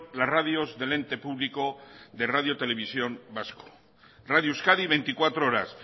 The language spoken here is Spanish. las radios del ente público de radio televisión vasco radio euskadi veinticuatro horas